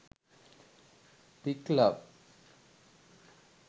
pic love